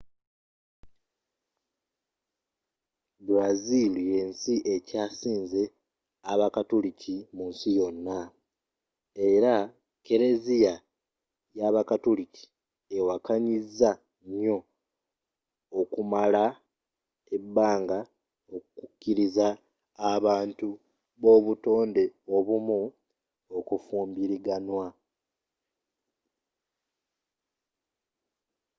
brazil yensi ekyasinze abakatuliki mu nsi yona era keleziya y'abakatuliki ewakanyiza nyo okumala ebbanga okukiliza abantu b'obutonde obumu okufumbiraganwa